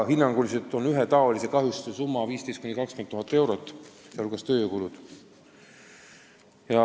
Hinnanguliselt on ühe taolise kahjustuse summa koos tööjõukuludega 15 000 – 20 000 eurot.